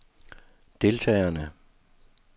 deltagerne